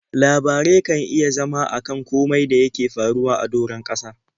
Labarai kan iya zama a kan komai da yake faruwa a doron ƙasa.